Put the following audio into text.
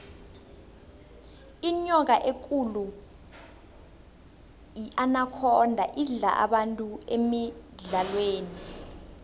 inyoka ekulu inakhonda idla abantu emidlalweni